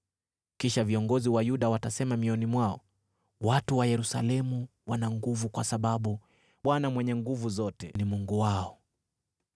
Kisha viongozi wa Yuda watasema mioyoni mwao, ‘Watu wa Yerusalemu wana nguvu kwa sababu Bwana Mwenye Nguvu Zote ni Mungu wao.’